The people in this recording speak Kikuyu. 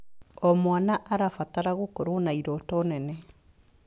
O mwana arabatara gũkorwo na irooto nene.